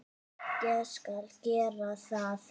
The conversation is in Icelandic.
Ég skal gera það.